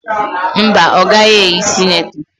Mba, ọ gaghị eyi sinetọ